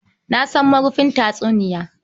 Na san marufin tatsuniya